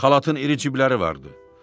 Xalatın iri cibləri vardı.